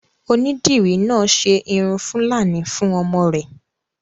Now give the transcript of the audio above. Onídìrí náà ṣe irun fúlàní fún ọmọ rẹ̀